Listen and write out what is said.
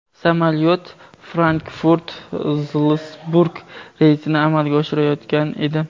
Samolyot Frankfurt – Zalsburg reysini amalga oshirayotgan edi.